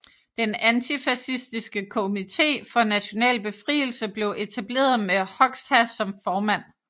Den antifascistiske komité for national befrielse blev etableret med Hoxha som formand